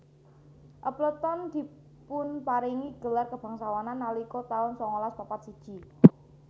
Appleton dipunparingi gelar kebangsawanan nalika taun sangalas papat siji